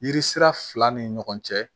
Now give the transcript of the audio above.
Yiri sira fila ni ɲɔgɔn cɛ